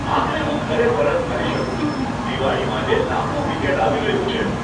આખરે હું ઘરે પરત ફરી શકું છું. દિવાળી માટે લાંબુ વીકએન્ડ આવી રહ્યું છે.